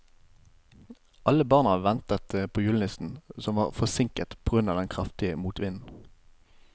Alle barna ventet på julenissen, som var forsinket på grunn av den kraftige motvinden.